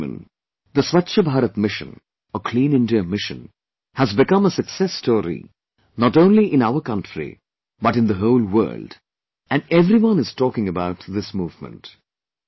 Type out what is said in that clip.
My dear countrymen, Swachh Bharat Mission or Clean India Mission has become a success story not only in our country but in the whole world and everyone is talking about this movement